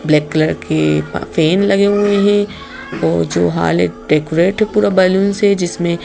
black colour के fan लगे हुए हैं और जो हाल है डेकोरेट है पूरा बैलून से जिसमें--